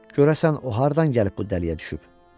Görəsən o hardan gəlib bu dəliyə düşüb?